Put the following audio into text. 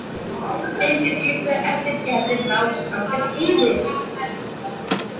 Steindir gluggar eftir Gerði ná samfellt yfir